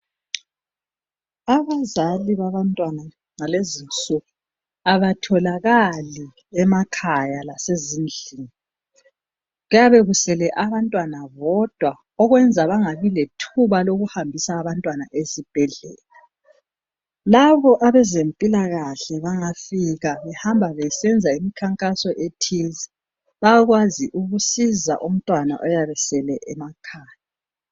Abazali babantwana bakulezi insuku abatholakali emakhaya lasezindlini kuyabe kusele abantwana bodwa okwenza bangabi lethuba lokuhambisa abantwana esibhedlela labo abezempilakahle bangafika behamba besenza imkhankaso ethize bayakwanisa ukusiza umntwana oyabe esele emakhaya.